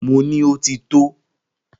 Mo ní Ó ti tó!